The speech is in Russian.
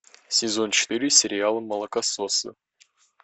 сезон четыре сериала молокососы